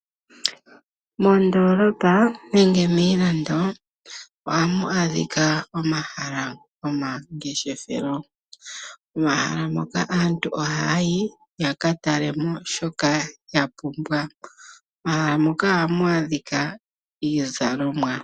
Moondoolopa nenge miilando, ohamu adhika omahala gomangeshethelo. Momahala moka aantu ohayayi yakatale mo shoka yapumbwa. Momahala moka ohamu adhika iizalomwa.